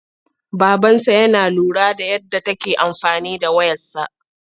Babansa yana lura da yadda take amfani da wayarsa..